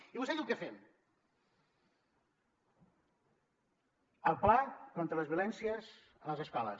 i vostè diu què fem el pla contra les violències a les escoles